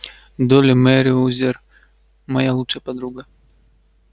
долли мерриуэзер моя лучшая подруга